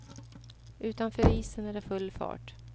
Utanför isen är det full fart.